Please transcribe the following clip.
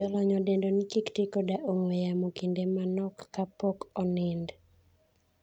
Jolony odendo ni kiktii koda ong'wee yamo kinde manok ka pok onind.